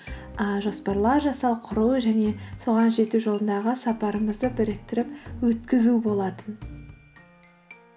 ыыы жоспарлар жасау құру және соған жету жолындағы сапарымызды біріктіріп өткізу болатын